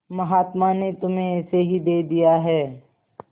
महात्मा ने तुम्हें ऐसे ही दे दिया है